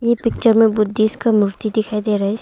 यह पिक्चर में बुद्धिस्ट का मूर्ति दिखाई दे रहा है।